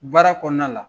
Baara kɔnɔna la